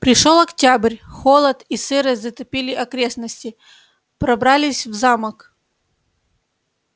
пришёл октябрь холод и сырость затопили окрестности пробрались в замок